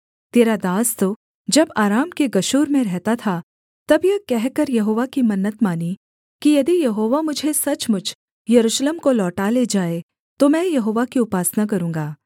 तेरा दास तो जब अराम के गशूर में रहता था तब यह कहकर यहोवा की मन्नत मानी कि यदि यहोवा मुझे सचमुच यरूशलेम को लौटा ले जाए तो मैं यहोवा की उपासना करूँगा